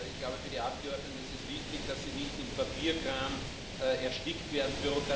Ich glaube, für die Abgeordneten ist es wichtig, dass sie nicht im Papierkram erstickt werden.